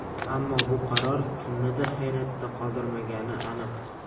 Ammo bu qaror kimnidir hayratda qoldirmagani aniq.